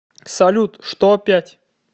салют что опять